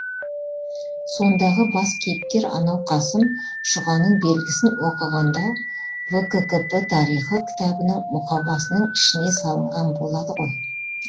сондағы бас кейіпкер анау қасым шұғаның белгісін оқығанда вккп тарихы кітабының мұқабасының ішіне салынған болады ғой